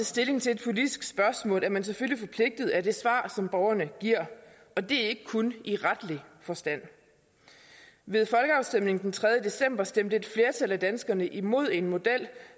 stilling til et politisk spørgsmål er man selvfølgelig forpligtet af det svar som borgerne giver og det er ikke kun i retlig forstand ved folkeafstemningen den tredje december stemte et flertal af danskerne imod en model